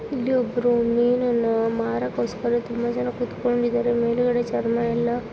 ಇಲ್ಲಿಒಬ್ರು ಮೀನುನ್ನ ಮಾರಕ್ಕೋಸ್ಕರ ತುಂಬಾ ಜನ ಕುತ್ಕೊಂಡಿದ್ದಾರೆ ಮೇಲ್ಗಡೆ ಚರ್ಮ ಎಲ್ಲ --